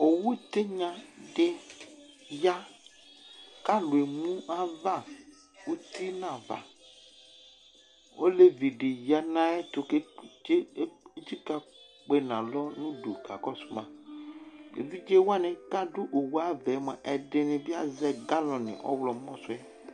Owu tigna di ya, k'alʋ emu ayava uti n'ava Olevi di ya n'ayɛtʋ k'etsika kpe n'alɔ n'udu kakɔsʋ ma Evidze wani k'adʋ owu ayʋ ava yɛ mua, ɛdini bi azɛ galɔni ɔɣlɔmɔ sʋ yɛ